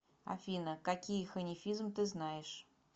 афина какие ханифизм ты знаешь